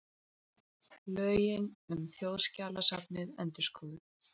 Lögin um Þjóðskjalasafnið endurskoðuð